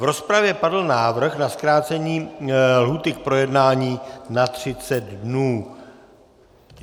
V rozpravě padl návrh na zkrácení lhůty k projednání na 30 dnů.